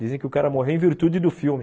Dizem que o cara morreu em virtude do filme.